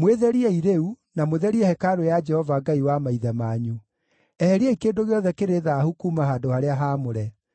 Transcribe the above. Mwĩtheriei rĩu, na mũtherie hekarũ ya Jehova Ngai wa maithe manyu. Eheriai kĩndũ gĩothe kĩrĩ thaahu kuuma handũ-harĩa-haamũre.